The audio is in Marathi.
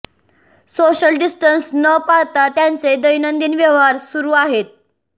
सोशल डिस्टन्स न पाळता त्यांचे दैनंदिन व्यवहार सुरू आहेत